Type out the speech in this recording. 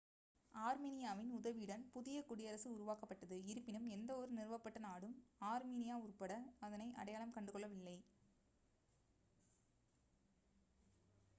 ஆர்மினியாவின் உதவியுடன் புதிய குடியரசு உருவாக்கப்பட்டது இருப்பினும் எந்தவொரு நிறுவப்பட்ட நாடும் ஆர்மினியா உட்பட அதனை அடையாளம் கண்டுகொள்ளவில்லை